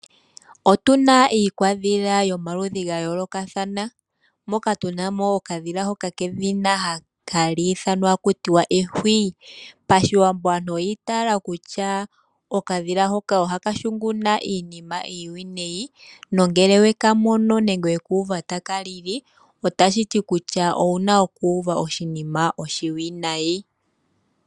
Otuna iikwadhila yomaludhi gayoolokathana, moka tunamo okadhila hoka kedhina ehwiyu. PaShiwambo aantu oyiitayela kutya okadhila hoka ohaka hunguna iinima iiwinayi nongele wekamono nenge wekuuva taka lili otashi ti kutya owuna okuuva oshinima oshiwinayi.